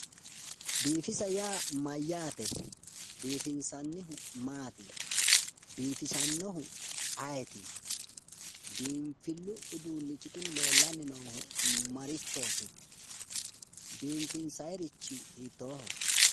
biifis yaa mayyaate? biifinsannihu maati? biifisannohu ayeeti? biinfillu uduunnichi kuni leellanni noohu marichooti? biifinsayiirichi hiittooho?